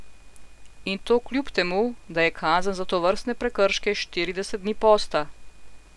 In to kljub temu, da je kazen za tovrstne prekrške štirideset dni posta.